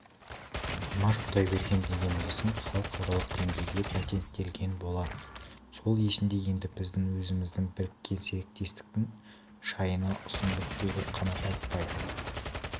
димаш құдайберген деген есім халықаралық деңгейде патенттелген болатын сол есімде енді біз өзіміздің біріккен серіктестіктің шайына ұсындық деді қанат айтпаев